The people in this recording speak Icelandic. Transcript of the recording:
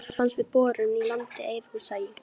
Heitt vatn fannst við borun í landi Eiðhúsa í